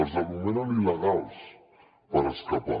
els anomenen il·legals per escapar